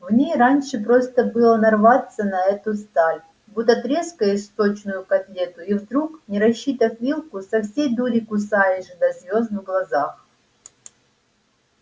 в ней раньше просто было нарваться на эту сталь будто трескаешь сочную котлету и вдруг не рассчитав вилку со всей дури кусаешь до звёзд в глазах